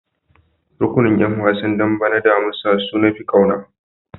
Rukunin ƴan wasan dambe na damusa su nafi kauna.